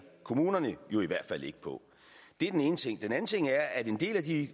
kommunerne i hvert fald ikke på det er den ene ting den anden ting er at en del af de